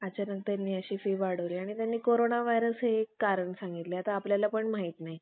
तिच्यामध्ये, अतिशय फेरफार होऊन बराच अवध, झाला आहे. तथापि तिच्यातील बहुतेक मंत्रात यंत्रात ओम नमो ओम नमः